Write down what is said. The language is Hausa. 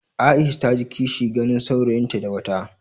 Aisha ta ji kishi ganin saurayinta da wata.